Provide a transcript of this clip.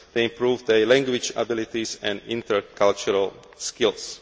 They have improved their language abilities and intercultural skills.